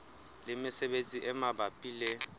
le mesebetsi e mabapi le